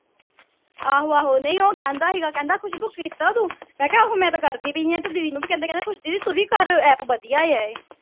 ਆਹੋ ਆਹੋ ਨਹੀਂ ਉਹ ਕਹਿੰਦਾ ਸੀਗਾ ਕਹਿੰਦਾ ਖੁਸ਼ਬੂ ਕੀਤਾ ਤੂੰ ਮੈਂ ਕਿਹਾ ਆਹੋ ਮੈਂ ਤਾਂ ਕਰਦੀ ਪਈ ਆ ਇਹ ਤੇ ਦੀਦੀ ਨੂੰ ਵੀ ਕਹਿੰਦੇ ਕਹਿੰਦੇ ਖੁਸ਼ ਦੀਦੀ ਤੂੰ ਵੀ ਕਰ app ਵਧੀਆ ਆ ਇਹ